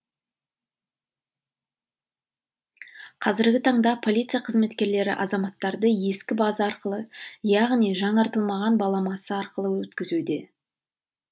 қазіргі таңда полиция қызметкерлері азаматтарды ескі база арқылы яғни жаңартылмаған баламасы арқылы өткізуде